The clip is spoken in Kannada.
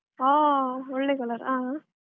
ಹ ಒಳ್ಳೆ colour ಹ ಹ.